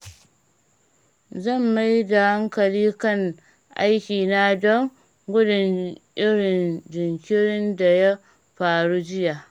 Zan mai da hankali kan aikina don gudun irin jinkirin da ya faru jiya.